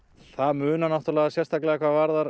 það munar náttúrulega sérstaklega hvað varðar